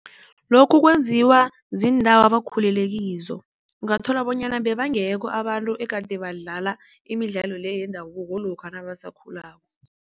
Lokhu kwenziwa ziindawo abakhulelekizo. Ungathola bonyana bebangekho abantu egade badlala imidlalo le yendabuko lokha nabasakhulako.